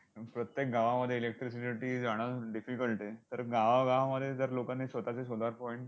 प्रत्येक गावामध्ये electricity जाणं difficult आहे. तर गावागावामध्ये जर लोकांनी स्वतःचे solar point